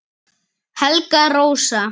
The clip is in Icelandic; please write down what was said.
Helga Rósa